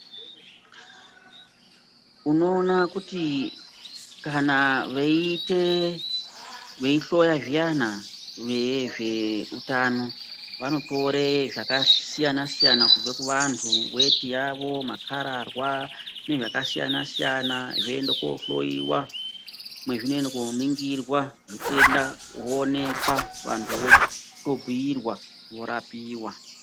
Unoona kuti kana veiite veihloya zviyana vezveutano vanotore zvakasiyana siyana kubva kuvanthu weti yavo makararwa nezvakasiyana siyana zvoende koohloyiwa mwezvinoenda kooningirwa zvitenda zvooneka vanthu votobhiirwa vorapiwa.